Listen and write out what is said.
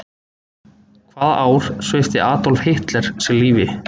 Hvaða ár svipti Adolf Hitler sig lífi?